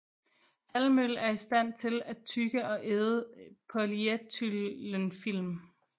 Halvmøl er i stand til at tygge og æde polyethylenfilm